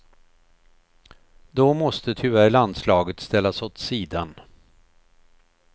Då måste tyvärr landslaget ställas åt sidan.